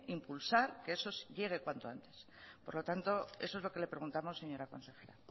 impulsar que eso llegue cuanto antes por lo tanto eso es lo que le preguntamos señora consejera